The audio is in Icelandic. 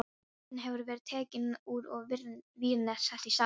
Botninn hefur verið tekinn úr og vírnet sett í staðinn.